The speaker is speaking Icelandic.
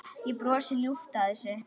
Ég brosi ljúft að þessu.